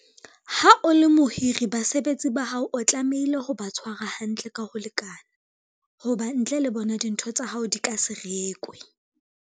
Ha o le mohiri, basebetsi ba hao o tlamehile ho ba tshwara hantle ka ho lekana, ho ba ntle le bona dintho tsa hao di ka se rekwe.